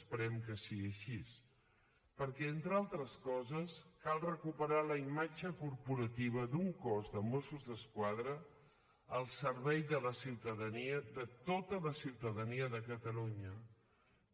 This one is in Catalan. esperem que sigui així perquè entre altres coses cal recuperar la imatge corporativa d’un cos de mossos d’esquadra al servei de la ciutadania de tota la ciutadania de catalunya